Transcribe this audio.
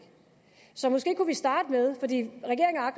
så måske kunne vi starte med den